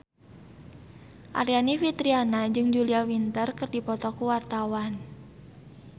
Aryani Fitriana jeung Julia Winter keur dipoto ku wartawan